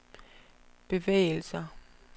bevægelser